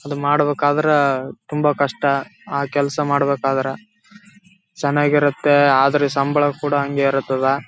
ಮಾಡಬೇಕಾದ್ರೆ ತುಂಬಾ ಕಷ್ಟ ಆ ಕೆಲ್ಸ ಮಾಡ್ಬೇಕಾದ್ರೆ ಚೆನ್ನಾಗಿರುತ್ತೆ ಆದ್ರೆ ಸಂಬಳ ಕೂಡ ಅಂಗೇ ಇರ್‌ತದ.